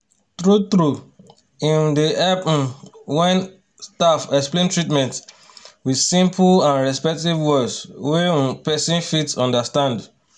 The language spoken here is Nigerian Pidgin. true-true e um dey help um when staff explain treatment with simple and respectful words wey um person fit understand